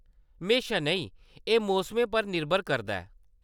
म्हेशां नेईं, एह्‌‌ मौसमें पर निरभर करदा ऐ।